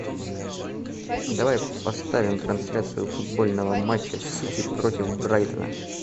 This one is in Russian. давай поставим трансляцию футбольного матча сити против брайтона